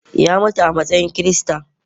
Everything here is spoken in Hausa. Ya mutu a matsayin Kirista